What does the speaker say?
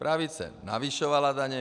Pravice navyšovala daně.